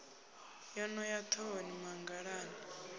yo no ya ḓhohoni mangalani